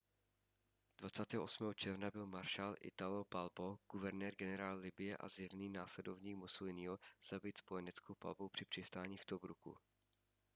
28. června byl maršál italo balbo guvernér-generál libye a zjevný následovník mussoliniho zabit spojeneckou palbou při přistání v tobruku